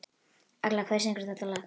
Agla, hver syngur þetta lag?